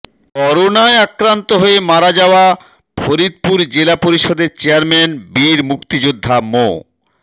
করোনায় আক্রান্ত হয়ে মারা যাওয়া ফরিদপুর জেলা পরিষদের চেয়ারম্যান বীর মুক্তিযোদ্ধা মো